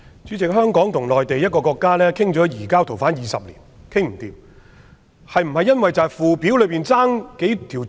主席，香港與內地討論移交逃犯20年也談不攏，是否因為附表缺少了某幾項罪行類別？